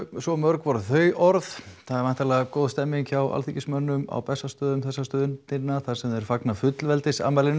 svo mörg voru þau orð það er væntanlega góð stemmning hjá alþingismönnum á Bessastöðum þessa stundina þar sem þeir fagna fullveldisafmælinu